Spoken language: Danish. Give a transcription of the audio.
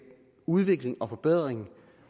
udvikling og forbedring